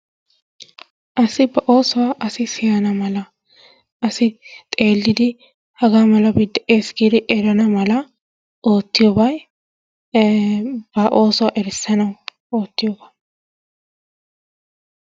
Asi ba oossuwaa asi siyana mala asi xeellidi hagaa malabi de'ees giidi erana mala oottiyooban ba oosuwaa erissana mala oottiyooba.